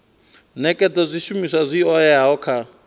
nekedza zwishumiswa zwi oeaho kha